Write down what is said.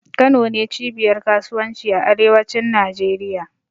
Kano ne cibiyar kasuwanci a arewacin Najeriya.